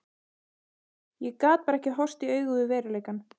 Ég gat bara ekki horfst í augu við veruleikann.